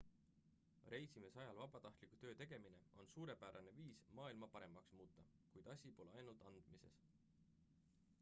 reisimise ajal vabatahtliku töö tegemine on suurepärane viis maailma paremaks muuta kuid asi pole ainult andmises